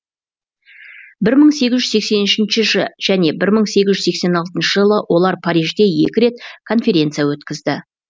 бір мың сегіз жүз сексен үшінші және бір мың сегіз жүз сексен алтыншы жылы олар парижде екі рет конференция өткізді